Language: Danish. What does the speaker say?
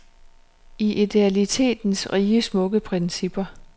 I idealitetens rige smukke principper.